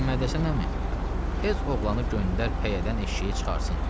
Məhəmməd Həsən əmi, tez oğlanı göndər pəyədən eşşəyi çıxartsın.